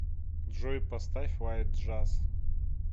джой поставь лайт джаз